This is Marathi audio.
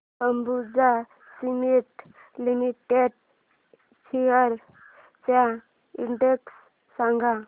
अंबुजा सीमेंट लिमिटेड शेअर्स चा इंडेक्स सांगा